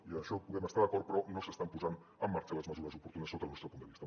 i en això podem estar d’acord però no s’estan posant en marxa les mesures oportunes sota el nostre punt de vista